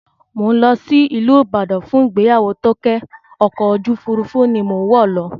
Mò ń lọ sí ìlú Ibadan fún ìgbéyàwó Tóké, ọkọ̀ ojú òfurufú ni mò ń wọ̀ lọ